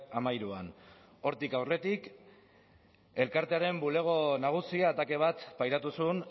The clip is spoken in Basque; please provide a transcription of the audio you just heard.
hamairuan hortik aurretik elkartearen bulego nagusia atake bat pairatu zuen